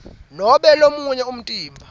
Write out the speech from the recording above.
nobe lomunye umtimba